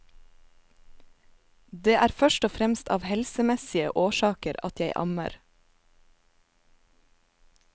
Det er først og fremst av helsemessige årsaker at jeg ammer.